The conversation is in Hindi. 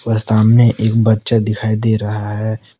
सामने एक बच्चा दिखाई दे रहा है।